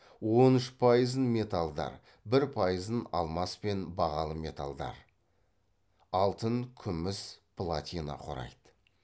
он үш пайызын металдар бір пайызын алмас пен бағалы металдар алтын күміс платина құрайды